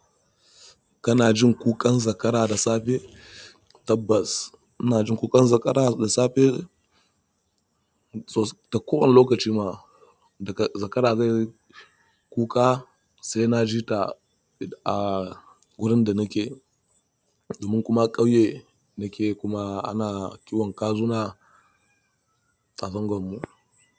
Kana jin kukan zakara da safe tabbas. Ina jin kukan zakara da safe so da kowane lokaci ma. Daga zakara zai kuka sai na ji ta a wurin da nake. Domin kuma ƙauye nake kuma ana kiwon kazu na zangwan mu.